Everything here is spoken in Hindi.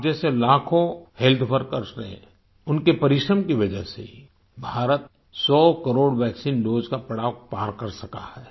आप जैसे लाखों हेल्थ वर्कर्स ने उनके परिश्रम की वजह से ही भारत सौकरोड़ वैक्सीन दोसे का पड़ाव पार कर सका है